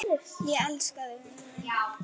Ég elska þig, vinur minn.